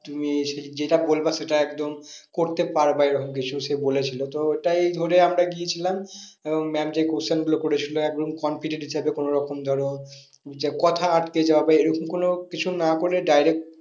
তুমি যেটা বলবে সেটা একদম করতে পারবা এরকম বিষয় সে বলেছিলো তো এটাই ধরে আমরা গিয়েছিলাম আহ ma'am যে question গুলো করে ছিল একদম confidence হিসাবে কোনো রকম ধরো উম যে কথা আটকে যাবে এরকম কোনো কিছু না করে direct